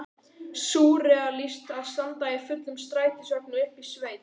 Súrrealískt að standa í fullum strætisvagni uppi í sveit!